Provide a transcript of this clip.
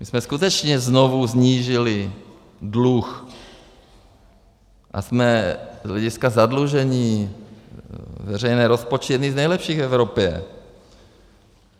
My jsme skutečně znovu snížili dluh a jsme z hlediska zadlužení veřejných rozpočtů jedni z nejlepších v Evropě.